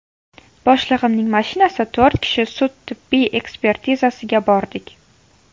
Boshlig‘imning mashinasida to‘rt kishi sud-tibbiy ekspertizasiga bordik.